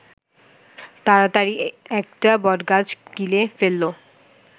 তাড়াতাড়ি একটা বটগাছ গিলে ফেলল